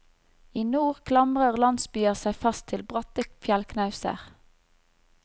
I nord klamrer landsbyer seg fast til bratte fjellknauser.